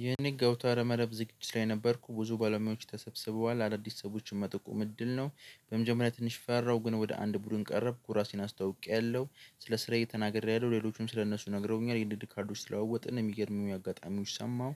ይህን ገብታ ረመረብ ዝግጅት ላይ ነበርኩ ብዙ ባለሙያዎች ተሰብስበዋል አዳዲስ ሰዎችን መጠቁም እድል ነው። በመጀመሪያ ትንሽ ፈራው ግን ወደ አንድ ቡድን ቀረብኩ ራሴን አስታውቄያለሁ ስለ ስራዬ ተናግሬያለሁ ሌሎችም ስለእነሱ ነግረውኛል የንድድ ካርዶች ስለወጡ እንደሚያደርጉ አጋጣሚዎች ሰማሁ።